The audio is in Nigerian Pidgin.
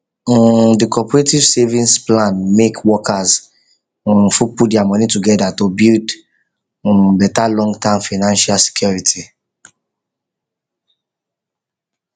um the cooperative savings plan make workers um fit put their money together to build um better longterm financial security